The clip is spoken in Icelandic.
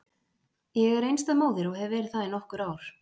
Ég er einstæð móðir og hef verið það í nokkur ár.